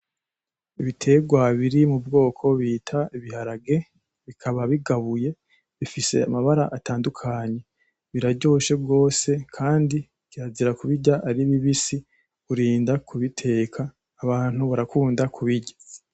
Ibitegwa biri mu bwoko bita ibiharage bikaba bigabuye bifise amabara atandukanye biraryoshe gose kandi kirazira kubirya ari bibisi nukurinda kubiteka abantu barakunda kubirya.